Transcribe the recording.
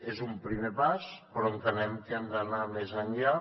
és un primer pas però entenem que hem d’anar més enllà